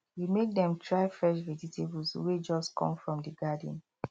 we make dem try fresh vegetables wey just come from the garden